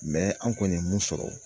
an kɔni ye mun sɔrɔ